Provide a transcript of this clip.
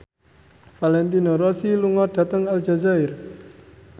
Valentino Rossi lunga dhateng Aljazair